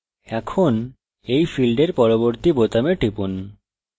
এখন এই ফীল্ডের পরবর্তী বোতামে টিপুন